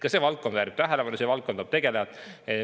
Ka see valdkond väärib tähelepanu, selle valdkonnaga peab tegelema.